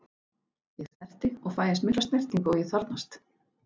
Ég snerti og fæ eins mikla snertingu og ég þarfnast.